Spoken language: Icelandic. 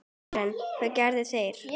Karen: Hvað gera þeir?